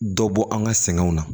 Dɔ bɔ an ka sɛgɛnw na